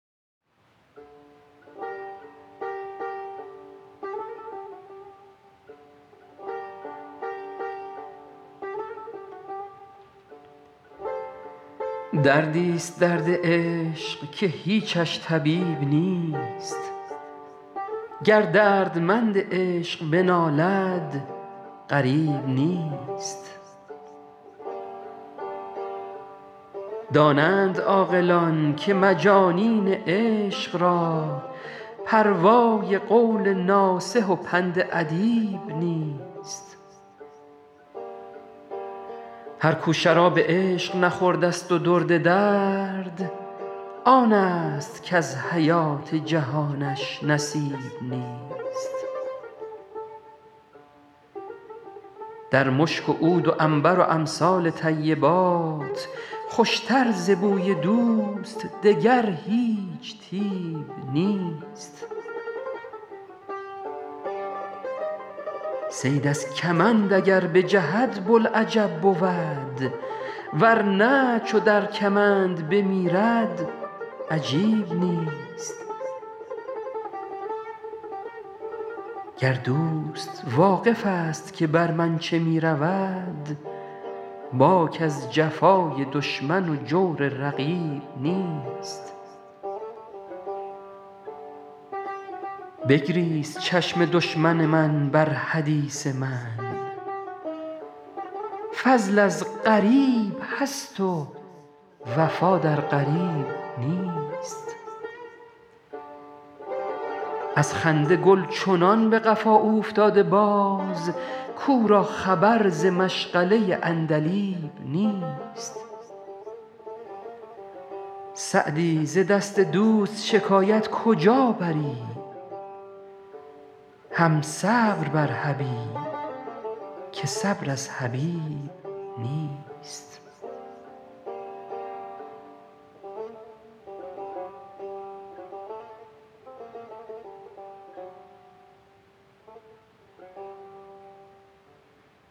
دردی ست درد عشق که هیچش طبیب نیست گر دردمند عشق بنالد غریب نیست دانند عاقلان که مجانین عشق را پروای قول ناصح و پند ادیب نیست هر کو شراب عشق نخورده ست و درد درد آن ست کز حیات جهانش نصیب نیست در مشک و عود و عنبر و امثال طیبات خوش تر ز بوی دوست دگر هیچ طیب نیست صید از کمند اگر بجهد بوالعجب بود ور نه چو در کمند بمیرد عجیب نیست گر دوست واقف ست که بر من چه می رود باک از جفای دشمن و جور رقیب نیست بگریست چشم دشمن من بر حدیث من فضل از غریب هست و وفا در قریب نیست از خنده گل چنان به قفا اوفتاده باز کو را خبر ز مشغله عندلیب نیست سعدی ز دست دوست شکایت کجا بری هم صبر بر حبیب که صبر از حبیب نیست